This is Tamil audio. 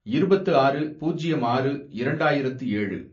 இருபத்து ஆறு, பூஜ்யம் ஆறு, இரண்டாயிரத்து ஏழு